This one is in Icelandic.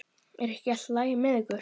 Er ekki allt í lagi með ykkur?